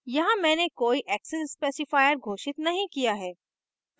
यहाँ मैंने कोई access specifier घोषित नहीं किया है